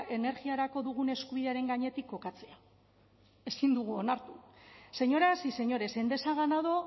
energiarako dugun eskubidearen gainetik kokatzea ezin dugu onartu señoras y señores endesa ha ganado